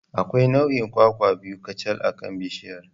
Akwai nau'in kwakwa biyu kacal akan bishiyar.